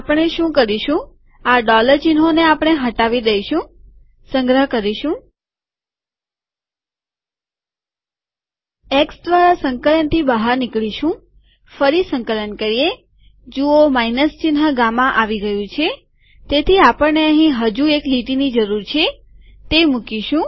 આપણે શું કરીશુંઆ ડોલર ચિહ્નોને આપણે હટાવી દઈશુંસંગ્રહ કરીશું